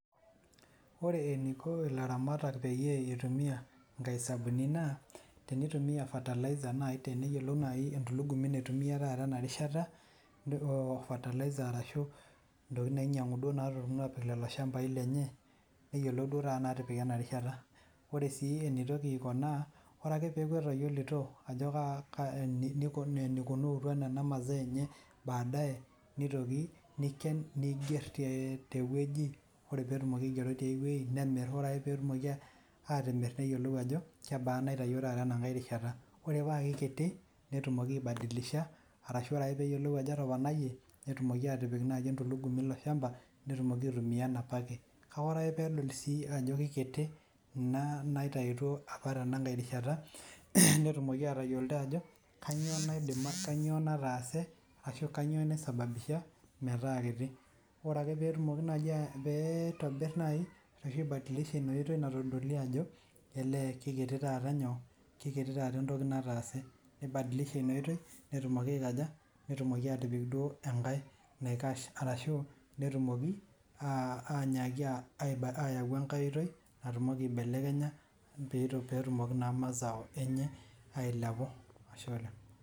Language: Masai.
Ore eniko ilaramatak peyie itumia inkaisabuni naa tenitumia fertilizers nai teneyiolou entulugumi naitumia taata enarishata oo fertilizers ashu intokiting nainyang'u naa aapik lelo shambai lenye neyiolou duo taata naatipika ena rishata Ore sii enitoki aiko naa orake piaku etayiolito enikunuutua enamaa enye baadaye nitoki nikien nigier tewueji, ore piitoki aigero tiai wueji nemir orake peetumoki atimir neyiolo ajo, ore paikiti netumoki aibadilisha arashu ore peeyiolou ajo etoponayie netumoki atipik naaji entulugumi ilo shamba netumoki aitumia enopake kake ore peedol sii ajo kiti kuna naitayutuo opa tenakai rishata netumoki atayiolito ajo kainyoo nataase ashu kainyoo naisababusha metaa kiti Orake piitobir nai nibadilisha ina oitoi natodolie ajo elee kekiti taata entoki nataase nibadilisha ina oitoi netumoki atipik duo engae naikash arashu netumoki aanyaki aibadilisha ayau enkai oitoi natumoki aibelekenya peetumoki naa mazao enye ailepu Ashe oleng'